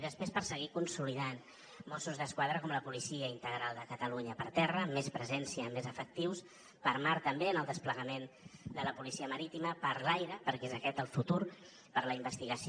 i després per seguir consolidant mossos d’esquadra com la policia integral de catalunya per terra amb més presència més efectius per mar també amb el desplegament de la policia marítima per l’aire perquè és aquest el futur per a la investigació